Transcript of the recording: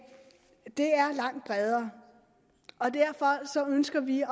er langt bredere og derfor ønsker vi